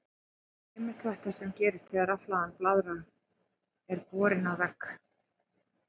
Það er einmitt þetta sem gerist þegar rafhlaðin blaðra er borin að vegg.